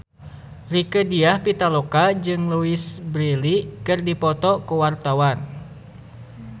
Rieke Diah Pitaloka jeung Louise Brealey keur dipoto ku wartawan